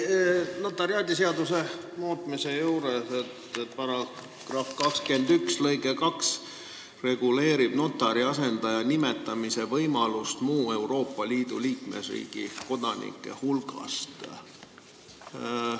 Ma loen notariaadiseaduse muutmise juurest, et § 21 lõige 2 reguleerib notari asendaja nimetamise võimalust muu Euroopa Liidu liikmesriigi kodanike hulgast.